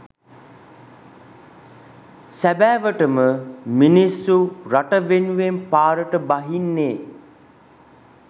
සැබෑවටම මිනිස්සු රට වෙනුවෙන් පාරට බහින්නේ